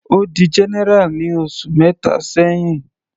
Ó di general ní oṣù mẹta sẹ́hìn.